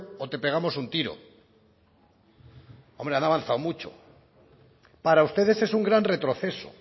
o te pegamos un tiro hombre han avanzado mucho para ustedes es un gran retroceso